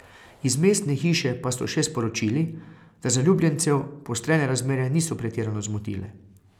Iz mestne hiše pa so še sporočili, da zaljubljencev poostrene razmere niso pretirano zmotile.